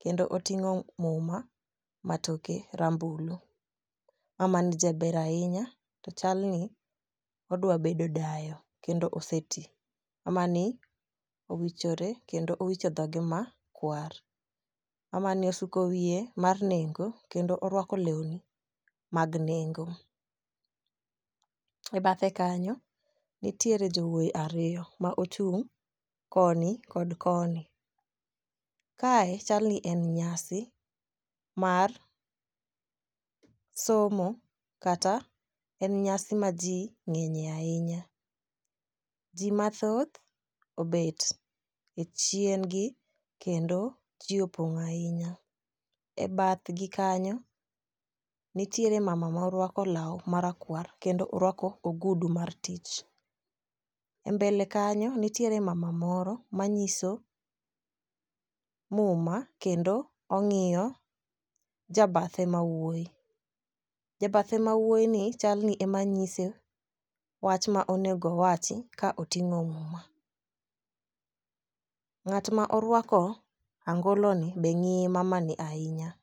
kendo oting'o muma matoke rambulu. Mama ni jaber ahinya to chal ni odwa bedo dayo kendo osetii, mama ni owichore ekndo owicho dhoge makwar. Mama ni osuko wiye mar nengo kendo orwako lewni mag nengo . E bathe kanyo nitiere jowuoyi ariyo ma ochung' koni kod koni. Kae chal ni en nyasi mar somo kata en nyasi ma jii ng'enyie ahinya. Jii mathoth obet to e chien gi kendo jii opong'o ahinya. E bathgi kanyo nitiere mama morwako law marakwar kendo orwako ogudu mar tich. E mbele kanyo nitiere mama moro manyiso muma kendo ong'iyo jabathe mawuoyi . Jabathe mawuoyi ni chal ni emanyise wach ma onego wachi ka oting'o muma . Ng'at ma orwako angolo ni be ng'iyo mama ni ahinya.